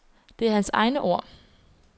Det er hans egne ord.